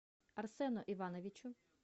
арсену ивановичу